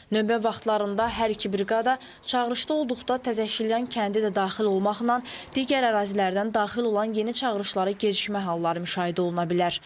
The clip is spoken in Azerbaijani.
Növbə vaxtlarında hər iki briqada çağırışda olduqda Təzəşilyan kəndi də daxil olmaqla digər ərazilərdən daxil olan yeni çağırışlara gecikmə halları müşahidə oluna bilər.